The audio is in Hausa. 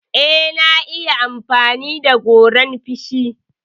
Eh, na iya amfani da goran feshi.